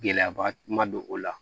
Gɛlɛyaba ma don o la